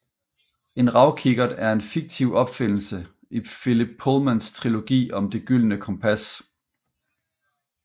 En ravkikkert er en fiktiv opfindelse i Philip Pullmans trilogi om Det gyldne kompas